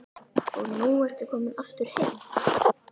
Og nú ertu komin aftur heim?